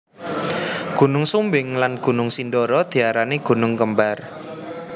Gunung Sumbing lan Gunung Sindoro diarani gunung kembar